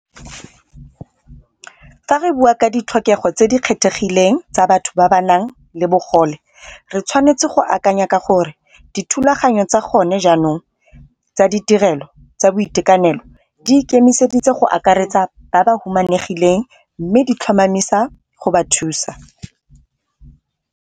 Fa re bua ka ditlhokego tse di kgethegileng tsa batho ba ba nang le bogole re tshwanetse go akanya ka gore, dithulaganyo tsa gone jaanong tsa ditirelo tsa boitekanelo di ikemiseditse go akaretsa ba ba humanegileng mme di tlhomamisa go ba thusa.